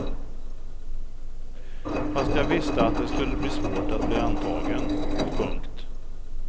Fast jag visste att det skulle bli svårt att bli antagen. punkt